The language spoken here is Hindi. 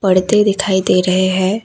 पर्दे दिखाई दे रहे हैं।